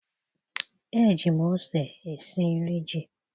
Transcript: eji m ose esi nri ji.